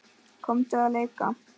Komdu að leika!